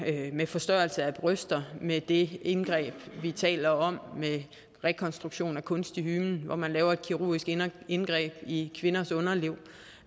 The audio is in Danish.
med forstørrelse af bryster med det indgreb vi taler om med rekonstruktion af kunstig hymen hvor man laver et kirurgisk indgreb i kvindens underliv